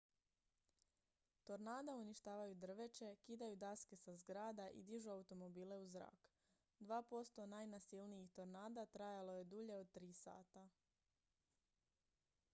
tornada uništavaju drveće kidaju daske sa zgrada i dižu automobile u zrak dva posto najnasilnijih tornada trajalo je dulje od tri sata